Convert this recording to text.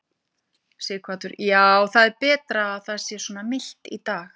Sighvatur: Já, það er betra að það sé svona milt í dag?